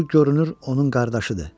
Bu görünür onun qardaşıdır.